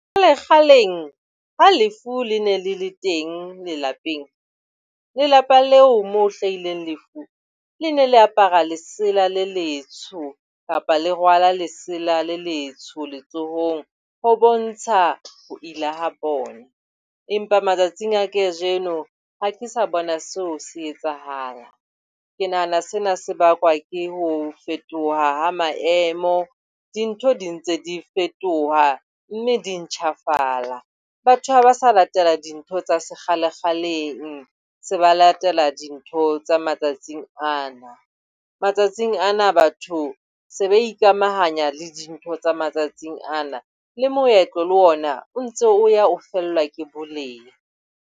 Kgaleng ha lefu le ne le le teng lelapeng, lelapa leo moo ho hlahileng lefu le ne le apara lesela le letsho kapa le rwala lesela le letsho letsohong ho bontsha ho ila ha bona. Empa matsatsing a kajeno ha ke sa bona seo se etsahala. Ke nahana sena se bakwa ke ho fetoha ha maemo. Dintho di ntse di fetoha, mme di ntjhafala. Batho ha ba sa latela dintho tsa sekgalekgaleng, se ba latela dintho tsa matsatsing ana. Matsatsing ana batho se ba ikamahanya le dintho tsa matsatsing ana. Le moetlo le ona o ntso o ya o fellwa ke boleng.